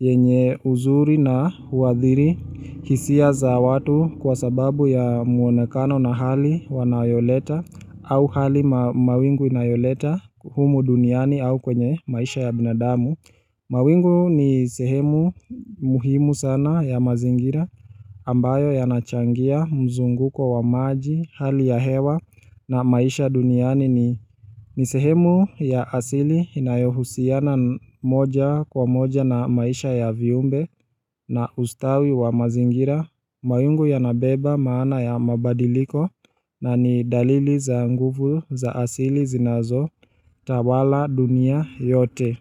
yenye uzuri na huadhiri hisia za watu kwa sababu ya mwonekano na hali wanayoleta au hali mawingu inayoleta humu duniani au kwenye maisha ya binadamu mawingu ni sehemu muhimu sana ya mazingira ambayo yanachangia mzunguko wa maji, hali ya hewa na maisha duniani ni ni sehemu ya asili inayohusiana moja kwa moja na maisha ya viumbe na ustawi wa mazingira mawingu yanabeba maana ya mabadiliko na ni dalili za nguvu za asili zinazotawala dunia yote.